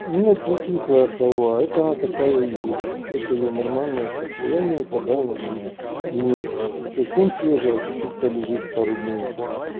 нет не кислая халва это она такая есть это я нормальное состояние когда она там не совсем свежая а чуть-чуть полежит пару дней